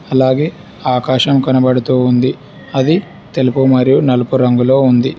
అలాగే ఆకాశం కనబడుతూ ఉంది అది తెలుపు మరియు నలుపు రంగులో ఉంది.